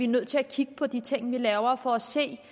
nødt til kigge på de ting vi laver for at se